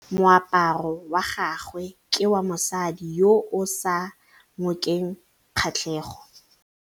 Moaparô wa gagwe ke wa mosadi yo o sa ngôkeng kgatlhegô.